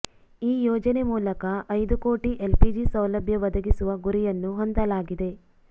ಈ ಯೋಜನೆ ಮೂಲಕ ಐದು ಕೋಟಿ ಎಲ್ಪಿಜಿ ಸೌಲಭ್ಯ ಒದಗಿಸುವ ಗುರಿಯನ್ನು ಹೊಂದಲಾಗಿದೆ